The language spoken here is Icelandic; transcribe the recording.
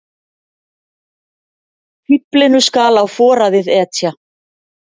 Fíflinu skal á foraðið etja.